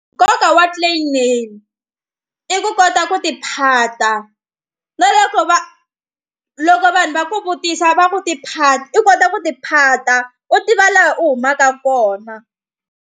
Nkoka wa clan name i ku kota ku tiphata na loko va loko vanhu va ku vutisa va ku tiphati i kota ku tiphata u tiva laha u humaka kona.